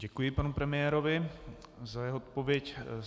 Děkuji panu premiérovi za jeho odpověď.